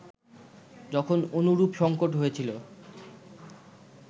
যখন অনুরূপ সঙ্কট হয়েছিল